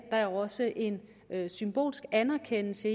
der er også en symbolsk anerkendelse